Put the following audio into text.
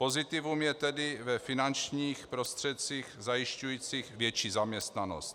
Pozitivum je tedy ve finančních prostředcích zajišťujících větší zaměstnanost.